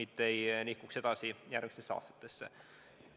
See ei tohiks nihkuda edasi järgmistesse aastatesse.